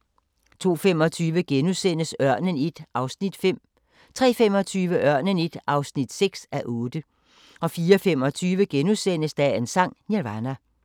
02:25: Ørnen I (5:8)* 03:25: Ørnen I (6:8) 04:25: Dagens Sang: Nirvana *